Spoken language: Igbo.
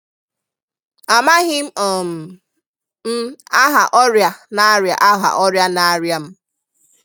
Amaghị um m aha ọrịa na-arịa aha ọrịa na-arịa m